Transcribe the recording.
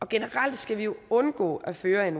generelt skal vi undgå at føre en